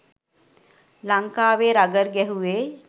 ලංකාවේ රගර් ගැහුවේ